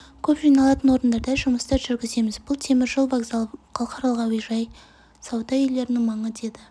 көп жиналатын орындарда жұмыстар жүргіземіз бұл темір жол вокзалы халықаралық әуежай сауда үйлерінің маңы деді